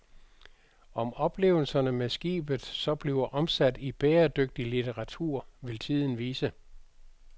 Om oplevelserne med skibet så bliver omsat i bæredygtig litteratur, vil tiden vise.